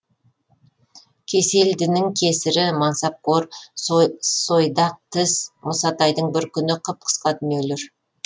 кеселдінің кесірі мансапқор сойдақ тіс мұсатайдың бір күні қып қысқа дүниелер